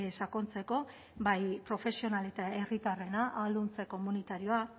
sakontzeko bai profesional eta herritarrena ahalduntze komunitarioa